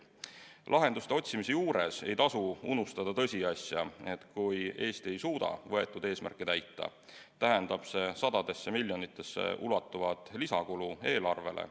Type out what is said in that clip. Lahenduste otsimise juures ei tasu unustada tõsiasja, et kui Eesti ei suuda võetud eesmärke täita, tähendab see sadadesse miljonitesse ulatuvat lisakulu eelarvele.